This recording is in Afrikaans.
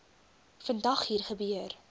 vandag hier gebeur